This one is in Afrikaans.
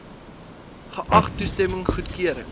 geag toestemming goedkeuring